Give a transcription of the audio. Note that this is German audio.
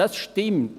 Das stimmt.